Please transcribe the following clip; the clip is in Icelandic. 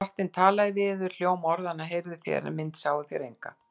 Drottinn talaði við yður. hljóm orðanna heyrðuð þér, en mynd sáuð þér enga.